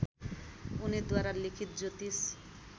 उनीद्वारा लिखित ज्योतिष